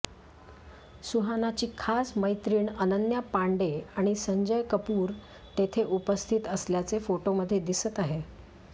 सुहानाची खास मैत्रीण अनन्या पांडे आणि संजय कपूर तेथे उपस्थित असल्याचे फोटोमध्ये दिसत आहे